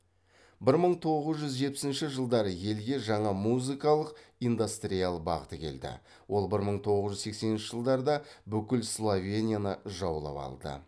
бір мың тоғыз жүз жетпісінші жылдары елге жаңа музыкалық индастриал бағыты келді ол бір мың тоғыз жүз сексенінші жылдарда бүкіл словенияны жаулап алды